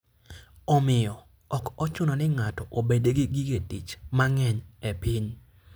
Omiyo, ok ochuno ni ng'ato obed gi gige tich mang'eny e piny.